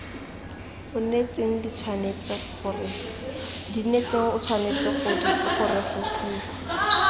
onetseng di tshwanetse go refosiwa